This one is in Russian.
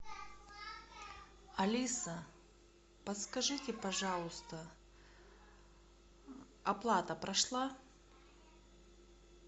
алиса подскажите пожалуйста оплата прошла